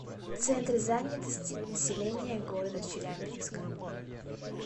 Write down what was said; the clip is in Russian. центр занятости населения города челябинска